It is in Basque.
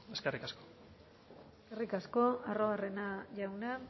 eskerrik asko eskerrik asko arruabarrena jauna